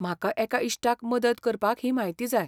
म्हाका एका इश्टाक मदत करपाक ही म्हायती जाय